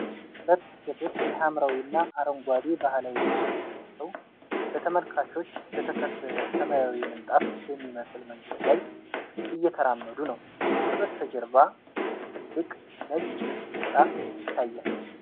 ሁለት ሴቶች የሐምራዊና አረንጓዴ ባህላዊ ልብሶችን ለብሰው፣ በተመልካቾች በተከበበ ሰማያዊ ምንጣፍ በሚመስል መንገድ ላይ እየተራመዱ ነው። ከበስተጀርባ ትልቅ ነጭ ሕንፃ ይታያል።